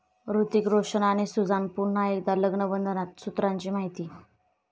हृतिक रोशन आणि सुझान पुन्हा एकदा लग्नबंधनात, सूत्रांची माहिती